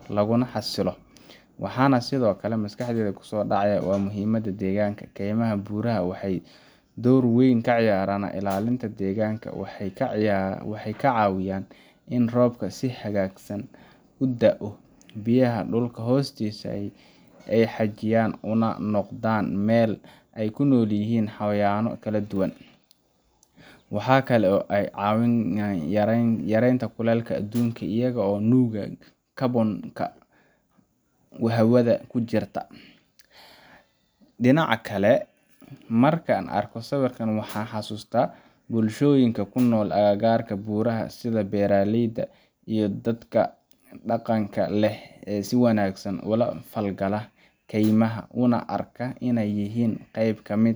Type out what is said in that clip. ah, waxana sithokale maskaxdeyda kusodacaya in robka si xagagu u udao, dinaca kale markan ego sawirkan waxan xasusta bulshoyinka kunol aga garka buraha sitha bala leyda iyo dadka daqanka leh kemaha una arka gemaha.